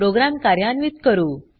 programme कार्यान्वित करू